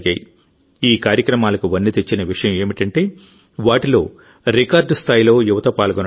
ఈ కార్యక్రమాలకు వన్నె తెచ్చిన విషయం ఏమిటంటే వాటిలో రికార్డు స్థాయిలో యువత పాల్గొనడం